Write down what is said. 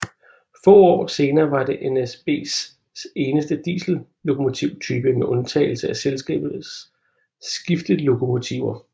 Få år senere var det NSBs eneste diesellokomotype med undtagelse af selskabets skiftlokomotiver